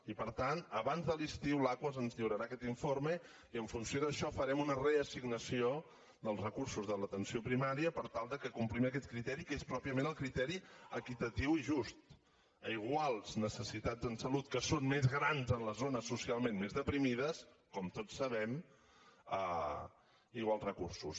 i per tant abans de l’estiu l’aquas ens lliurarà aquest informe i en funció d’això farem una reassignació dels recursos de l’atenció primària per tal que complim aquest criteri que és pròpiament el criteri equitatiu i just a iguals necessitats en salut que són més grans a les zones socialment més deprimides com tots sabem iguals recursos